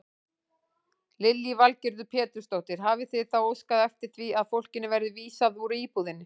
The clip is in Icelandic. Lillý Valgerður Pétursdóttir: Hafið þið þá óskað eftir því að fólkinu verði vísað úr íbúðinni?